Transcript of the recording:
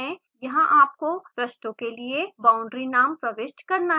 यहाँ आपको पृष्ठों के लिए बाउंड्री नाम प्रविष्ट करने हैं